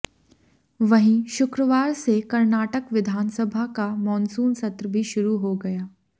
वहीं शुक्रवार से कर्नाटक विधानसभा का मॉनसून सत्र भी शुरू हो गया